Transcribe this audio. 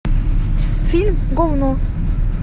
фильм говно